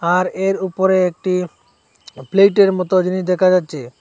আর এর উপরে একটি প্লেটের মতো জিনিস দেখা যাচ্ছে।